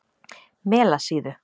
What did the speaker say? Melasíðu